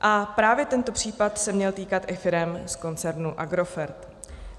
A právě tento případ se měl týkat i firem z koncernu Agrofert.